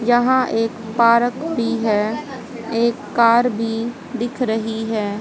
यहां एक पार्क भी है एक कार भी दिख रही है।